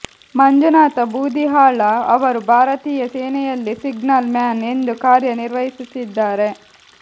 ಮಂಜುನಾಥ ಬೂದಿಹಾಳ ಅವರು ಭಾರತೀಯ ಸೇನೆಯಲ್ಲಿ ಸಿಗ್ನಲ್ ಮ್ಯಾನ್ ಎಂದು ಕಾರ್ಯ ನಿರ್ವಹಿಸುತ್ತಿದ್ದಾರೆ